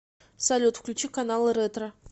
салют включи каналы ретро